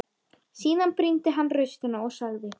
Síðan brýndi hann raustina og sagði: